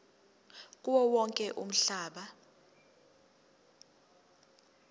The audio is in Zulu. kuwo wonke umhlaba